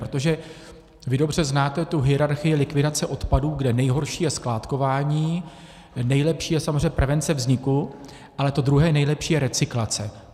Protože vy dobře znáte tu hierarchii likvidace odpadů, kde nejhorší je skládkování, nejlepší je samozřejmě prevence vzniku, ale to druhé nejlepší je recyklace.